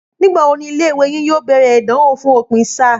Nígbà wo ni ilé ìwé yín yóò bèrè ìdánwò fún òpin sáà?